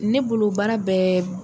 Ne bolo baara bɛɛ